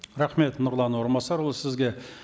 рахмет нұрлан орынбасарұлы сізге